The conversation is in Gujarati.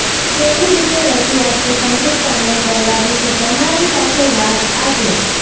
કેવી રીતે રજૂઆત કે સંગીત સામેલ કરવા વિશે તમારી સાથે વાત આજે